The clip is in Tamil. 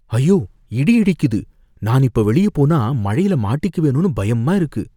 ஐயோ! இடி இடிக்குது, நான் இப்ப வெளிய போனா மழைல மாட்டிக்குவேனோனு பயமா இருக்கு